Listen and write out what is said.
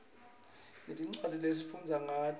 sinetincwadzi lesifundza ngato